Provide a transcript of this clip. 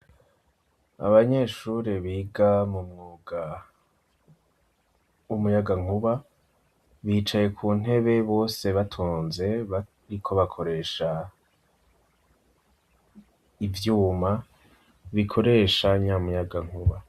Abanyeshure biga mu mwuga w'umuyagankuba, bicaye ku ntebe bose batonze bariko bakoresha ivyuma bikoresha nya muyagankuba.